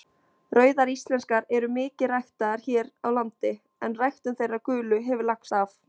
Rauðar íslenskar eru mikið ræktaðar hér á landi en ræktun þeirra gulu hefur lagst af.